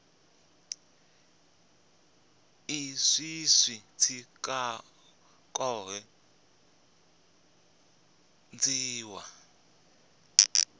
izwi zwi tshi khou dzhiiwa